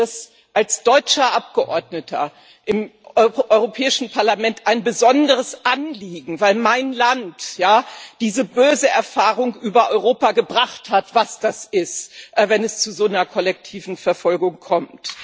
Mir ist das als deutscher Abgeordneter im Europäischen Parlament ein besonderes Anliegen, weil mein Land ja diese böse Erfahrung über Europa gebracht hat, die gezeigt hat, was das ist, wenn es zu so einer kollektiven Verfolgung kommt.